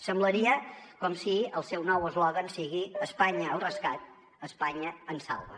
semblaria com si el seu nou eslògan fos espanya al rescat espanya ens salva